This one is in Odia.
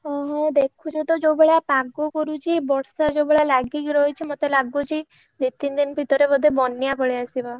ଓହୋ ଦେଖୁଛ ତ ଯୋଉ ଭଳିଆ ପାଗ କରୁଛି ବର୍ଷା ଯୋଉ ଭଳିଆ ଲାଗିକି ରହିଛି ମତେ ଲାଗୁଛି ଦି ତିନ ଦିନ ଭିତରେ ବୋଧେ ବନ୍ୟା ପଳେଇଆସିବ।